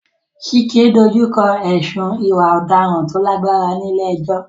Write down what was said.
Chike dojú kọ ẹ̀sùn ìwà ọ̀daràn tó lágbára ní ilé ẹjọ́.